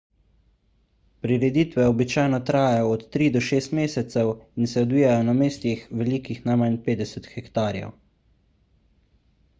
prireditve običajno trajajo od tri do šest mesecev in se odvijajo na mestih velikih najmanj 50 hektarjev